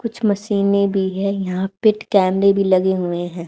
कुछ मशीनें भी है यहां पे कैमरे भी लगे हुए हैं।